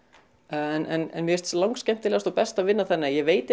en mér finnst langskemmtilegast og best að vinna þannig að ég veit